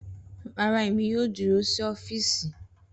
Rara Emi yoo duro si ọfiisi